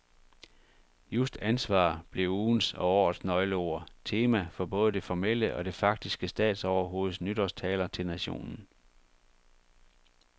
Just ansvar blev ugens og årets nøgleord, tema for både det formelle og det faktiske statsoverhoveds nytårstaler til nationen.